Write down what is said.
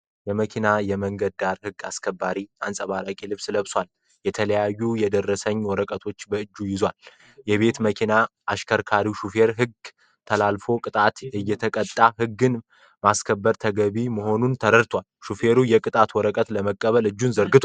የመኪና የመንገድ ዳር ህግ አስከባሪ አንፀባራቂ ልብስ ለብሷል። የተለያዩ የደረሰኝ ወረቀቶችን በእጆቹ ይዟል። የቤት መኪና አሽከርካሪዉ ሹፌር ህግ ተላልፎ ቅጣት እየተቀጣ ህግን ማክበር ተገቢ መሆኑን ተረድቷል። ሹፌሩ የቅጣት ወረቀቱን ለመቀበል እጁን ዘርግቷል።